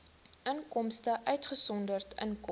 inkomste uitgesonderd inkomste